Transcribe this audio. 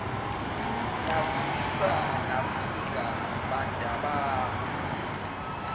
nasiza nafika bantabami